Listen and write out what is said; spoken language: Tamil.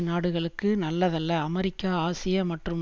நாடுகளுக்கு நல்லதல்ல அமெரிக்கா ஆசியா மற்றும்